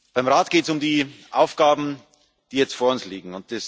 Beim Rat geht es um die Aufgaben, die jetzt vor uns liegen.